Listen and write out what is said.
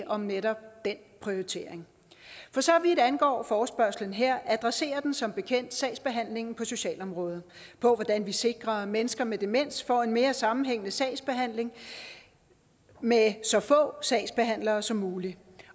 om netop den prioritering for så vidt angår forespørgslen her adresserer den som bekendt sagsbehandlingen på socialområdet hvordan vi sikrer at mennesker med demens får en mere sammenhængende sagsbehandling med så få sagsbehandlere som muligt